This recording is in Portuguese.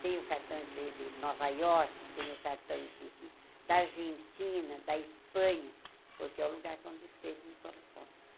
Tenho cartões de de Nova Iorque, tenho cartões de da Argentina, da Espanha, porque é o lugar que, onde escrevo, me correspondo.